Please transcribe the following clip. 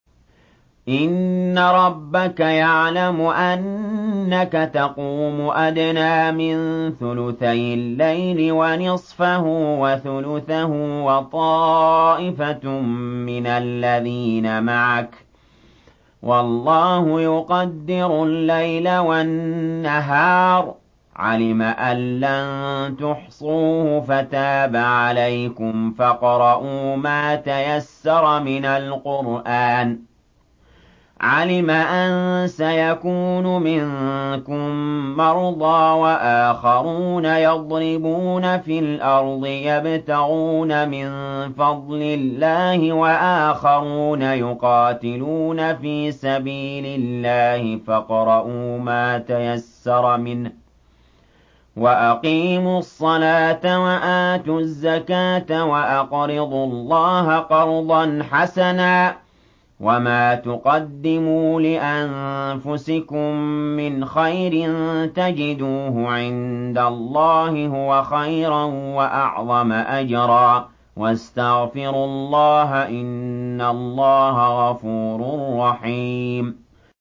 ۞ إِنَّ رَبَّكَ يَعْلَمُ أَنَّكَ تَقُومُ أَدْنَىٰ مِن ثُلُثَيِ اللَّيْلِ وَنِصْفَهُ وَثُلُثَهُ وَطَائِفَةٌ مِّنَ الَّذِينَ مَعَكَ ۚ وَاللَّهُ يُقَدِّرُ اللَّيْلَ وَالنَّهَارَ ۚ عَلِمَ أَن لَّن تُحْصُوهُ فَتَابَ عَلَيْكُمْ ۖ فَاقْرَءُوا مَا تَيَسَّرَ مِنَ الْقُرْآنِ ۚ عَلِمَ أَن سَيَكُونُ مِنكُم مَّرْضَىٰ ۙ وَآخَرُونَ يَضْرِبُونَ فِي الْأَرْضِ يَبْتَغُونَ مِن فَضْلِ اللَّهِ ۙ وَآخَرُونَ يُقَاتِلُونَ فِي سَبِيلِ اللَّهِ ۖ فَاقْرَءُوا مَا تَيَسَّرَ مِنْهُ ۚ وَأَقِيمُوا الصَّلَاةَ وَآتُوا الزَّكَاةَ وَأَقْرِضُوا اللَّهَ قَرْضًا حَسَنًا ۚ وَمَا تُقَدِّمُوا لِأَنفُسِكُم مِّنْ خَيْرٍ تَجِدُوهُ عِندَ اللَّهِ هُوَ خَيْرًا وَأَعْظَمَ أَجْرًا ۚ وَاسْتَغْفِرُوا اللَّهَ ۖ إِنَّ اللَّهَ غَفُورٌ رَّحِيمٌ